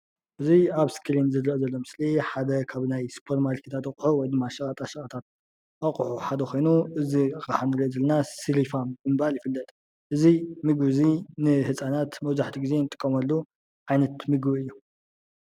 እዚ ኣብ እስክሪን ዝረአ ዘሎ ምስሊ ሓደ ካብ ናይ ስፖርማርኬት ኣቁሑ ወይድማ ሸቀጣ ሸቀጥ ኣቁሑ ሓደ ኮይኑ እዚ ኣቅሓ ንርኦ ዘለና ስሪፋም ብምባል ይፍለጥ። እዚ ምግቢ እዚ ንህፃናት መብዛሕቲኡ ግዜ ንጥቀመሉ ዓይነት ምግቢ እዩ።